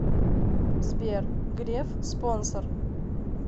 сбер греф спонсор